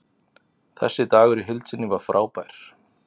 Þessi dagur í heild sinni var frábær.